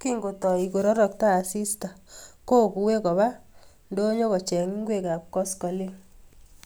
Kingotoi kororokto asista kokue Koba ndonyo kocheng ngwekab koskoleny